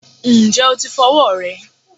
Ǹjẹ́ o ti fọ ọwọ́ rẹ?